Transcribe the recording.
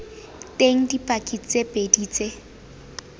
teng dipaki tse pedi tse